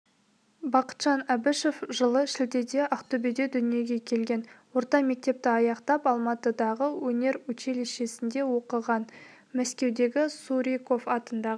бақытжан әбішев жылы шілдеде ақтөбеде дүниеге келген орта мектепті аяқтап алматыдағы өнеручилищесінде оқыған мәскеудегі суриков атындағы